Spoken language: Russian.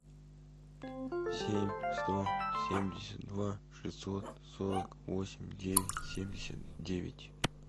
семь сто семьдесят два шестьсот сорок восемь девять семьдесят девять